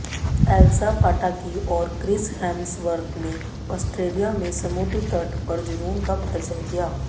Elsa Pataky और Chris Hemsworth ने Australia में समुद्र तट पर जुनून का प्रदर्शन किया